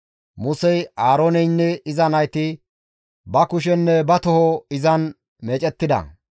Musey, Aarooneynne iza nayti ba kushenne ba toho izan meecettida.